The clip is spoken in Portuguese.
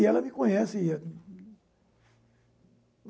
E ela me conhece.